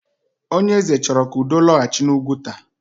Onyeeze chọrọ ka udo lọghachi n'Ụgwuta.